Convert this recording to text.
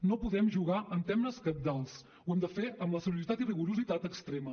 no podem jugar amb temes cabdals ho hem de fer amb la seriositat i el rigor extrems